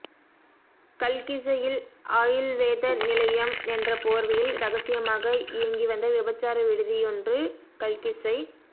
கல்கிஸ்ஸையில் ஆயுள்வேத நிலையம் என்ற போர்வையில் இரகசியமாக இயங்கி வந்த விபச்சார விடுதியொன்று கல்கிஸ்ஸை